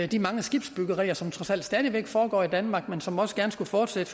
de mange skibsbyggerier som trods alt stadig væk foregår i danmark men som også gerne fortsat